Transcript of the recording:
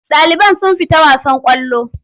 Ɗaliban sun fita wasan ƙwallo.